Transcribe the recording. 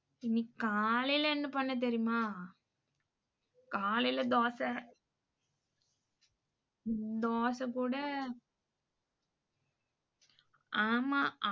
இன்னிக்கு காலைல என்ன பண்ணேன்னு தெரியுமா? காலைல தோச தோச போட ஆமா.